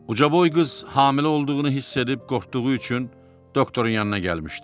Ucaboy qız hamilə olduğunu hiss edib qorxduğu üçün doktorun yanına gəlmişdi.